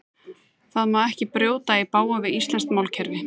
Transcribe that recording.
Það má ekki brjóta í bága við íslenskt málkerfi.